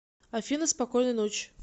афина спокойной ночи